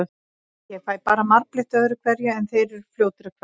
Ég fæ bara marbletti öðru hverju, en þeir eru fljótir að hverfa.